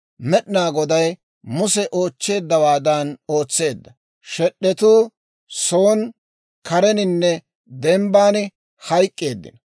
Med'inaa Goday Muse oochcheeddawaadan ootseedda; shed'etuu son kareninne dembban hayk'k'eeddino.